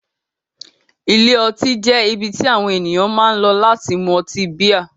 Ilé ọtí jẹ́ ibi tí àwọn ènìyàn máa ń lọ láti mú ọtí bíà.